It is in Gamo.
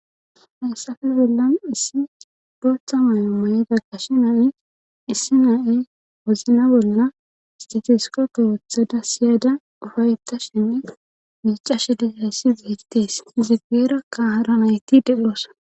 hayssafen bollan issi booththa may7o mayida qashe nayi issi na7e wozna bolla istatisko kowothada siyaada ufayettashenne miicashe dizayssi beettees izigeera kahara nayti dedhoossa